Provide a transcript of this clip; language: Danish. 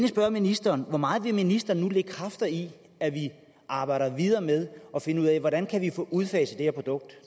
spørge ministeren hvor meget vil ministeren nu lægge kræfter i at vi arbejder videre med at finde ud af hvordan vi kan få udfaset det her produkt